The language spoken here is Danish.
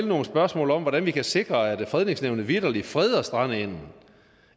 nogle spørgsmål om hvordan vi kan sikre at fredningsnævnet vitterlig freder strandengen